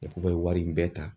I bɛ wari in bɛɛ ta.